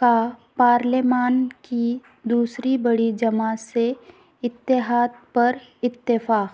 کاپارلیمان کی دوسری بڑی جماعت سےاتحاد پر اتفاق